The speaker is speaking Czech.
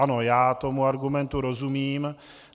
Ano, já tomu argumentu rozumím.